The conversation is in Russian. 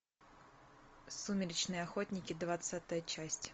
сумеречные охотники двадцатая часть